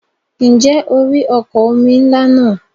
Ǹjẹ́ o rí ọkọ̀ omi ńlá náà?